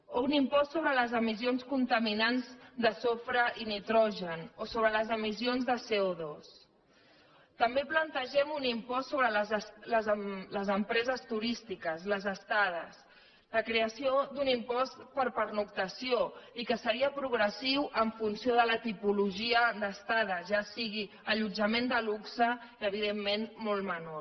o un impost sobre les emissions contaminants de sofre i nitrogen o sobre les emissions de cotambé plantegem un impost sobre les empreses turístiques les estades la creació d’un impost per pernoctació i que seria progressiu en funció de la tipologia d’estada ja sigui allotjament de luxe i evidentment molt menor